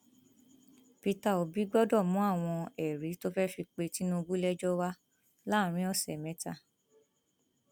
peter obi gbọdọ mú àwọn ẹrí tó fẹẹ fi pe tinubu lẹjọ wà láàrin ọsẹ mẹta